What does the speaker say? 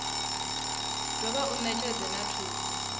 dovha wa netshedza na thuso